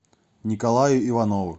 николаю иванову